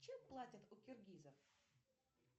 чем платят у киргизов